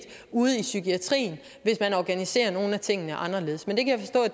ude i psykiatrien hvis man organiserer nogle af tingene anderledes men det kan